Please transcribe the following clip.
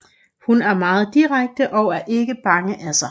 Hun er meget direkte og er ikke bange af sig